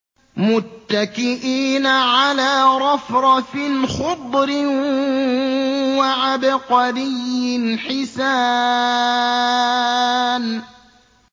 مُتَّكِئِينَ عَلَىٰ رَفْرَفٍ خُضْرٍ وَعَبْقَرِيٍّ حِسَانٍ